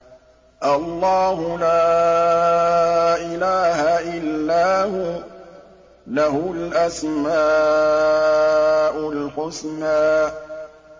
اللَّهُ لَا إِلَٰهَ إِلَّا هُوَ ۖ لَهُ الْأَسْمَاءُ الْحُسْنَىٰ